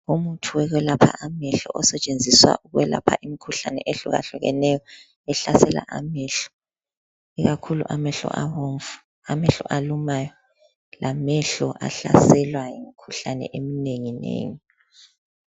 Umuthi wokwelapha amehlo osentshenziswa ukwelapha imikhuhlane ehlukahlukeneyo ehlasela amehlo. Ikakhulu amehlo abomvu, lamehlo alumayo, lamehlo ahlaselwa yimikhuhlane eminenginengi.